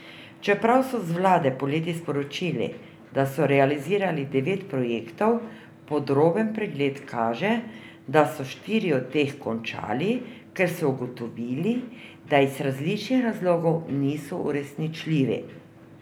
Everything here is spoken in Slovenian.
Čeprav so z vlade poleti sporočili, da so realizirali devet projektov, podroben pregled kaže, da so štiri od teh končali, ker so ugotovili, da iz različnih razlogov niso uresničljivi.